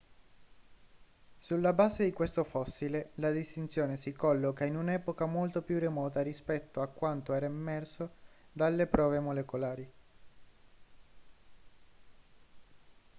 sulla base di questo fossile la distinzione si colloca in un'epoca molto più remota rispetto a quanto era emerso dalle prove molecolari